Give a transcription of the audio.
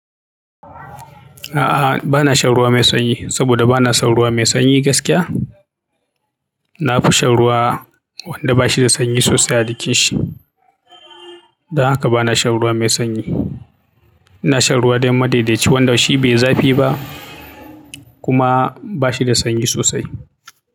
A'a, ba na shan ruwa mai sanyi saboda ba na son ruwa mai sanyi gaskiya. Na fi shan ruwa wanda bashi da sanyi sosai a jikinshi. Don haka ba na shan ruwa mai sanyi. Ina shan ruwa don madaidaici wanda shi bai zafi ba kuma bashi da sanyi sosai.